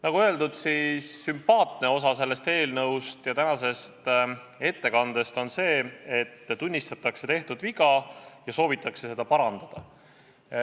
Nagu öeldud, sümpaatne on selle eelnõu ja tänase ettekande puhul see, et tunnistatakse tehtud viga ja soovitakse seda parandada.